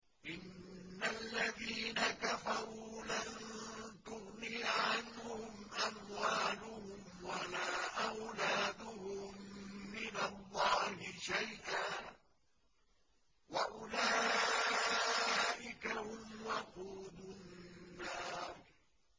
إِنَّ الَّذِينَ كَفَرُوا لَن تُغْنِيَ عَنْهُمْ أَمْوَالُهُمْ وَلَا أَوْلَادُهُم مِّنَ اللَّهِ شَيْئًا ۖ وَأُولَٰئِكَ هُمْ وَقُودُ النَّارِ